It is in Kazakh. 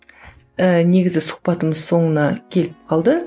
ііі негізі сұхбатымыз соңына келіп қалды